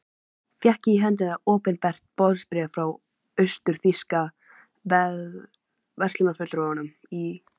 Fékk ég í hendur opinbert boðsbréf frá austur-þýska verslunarfulltrúanum í